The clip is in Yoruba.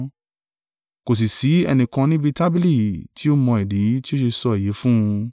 Kò sì sí ẹnìkan níbi tábìlì tí ó mọ ìdí tí ó ṣe sọ èyí fún un.